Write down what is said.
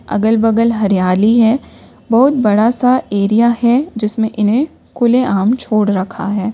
अगल बगल हरियाली है बहोत बड़ा सा एरिया है जिसमें इन्हें खुले आम छोड़ रखा है।